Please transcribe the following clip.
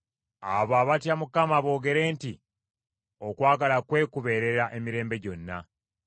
Abo abatya Mukama boogere nti, “Okwagala kwe kubeerera emirembe gyonna.”